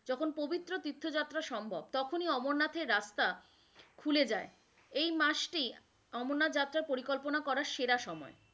যখন পবিত্র তীর্থযাত্রা সম্ভব তখনি অমরনাথের রাস্তা খুলে যাই, এই মাস টি অমরনাথ যাত্রার পরিকল্পনা করার সেরা সময়।